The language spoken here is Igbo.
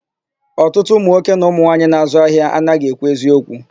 Ọtụtụ ụmụnwoke na ụmụmwaanyị na-àzụ́ ahịa anaghị ekwu eziokwu.